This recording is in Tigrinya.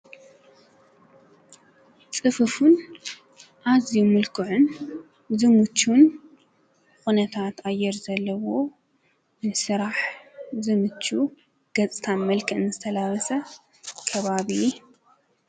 ፅፍፉን ኣዝዩ ምልክዑን ዝምችውን ኩነታት ኣየር ዘለዎ ንስራሕ ዝምችው ገፅታን መልክዕን ዝተላበሰ ከባቢ ?